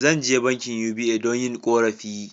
Zan je bankin"UBA" don yin korafi.